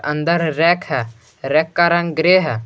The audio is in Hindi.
अंदर रैक है रैक का रंग ग्रे है।